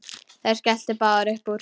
Þær skelltu báðar upp úr.